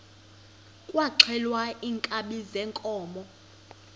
kwaxhelwa iinkabi zeenkomo